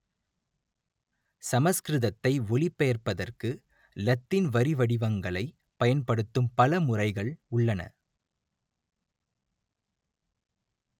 சமஸ்கிருதத்தை ஒலிபெயர்ப்பதற்கு இலத்தீன் வரிவடிவங்களைப் பயன்படுத்தும் பல முறைகள் உள்ளன